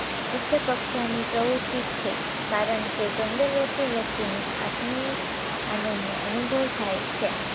ઉચ્ચ કક્ષાની પ્રવુતિ જ છે કારણ કે સૌંદર્યથી વ્યક્તિને આત્મીય આનંદનો અનુભવ થાય છે